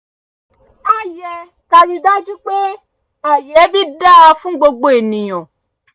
a yẹ ká rí i dájú pé ààyè ẹbí dáa fún gbogbo ènìyàn